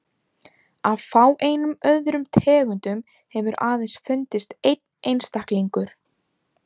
Af fáeinum öðrum tegundum hefur aðeins fundist einn einstaklingur.